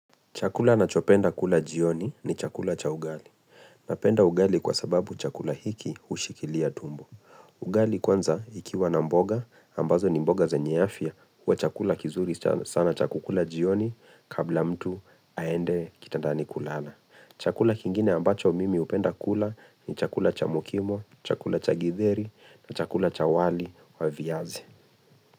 Chakula nachopenda kula jioni ni chakula cha ugali. Napenda ugali kwa sababu chakula hiki hushikilia tumbo. Ugali kwanza ikiwa na mboga ambazo ni mboga zenye afya huwa chakula kizuri sana cha kukula jioni kabla mtu aende kitandani kulala. Chakula kingine ambacho mimi hupenda kula ni chakula cha mukimo, chakula cha githeri na chakula cha wali wa viazi.